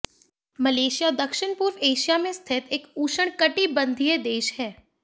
Malaysia दक्षिण पूर्व Asia में स्थित एक उष्णकटिबंधीय देश है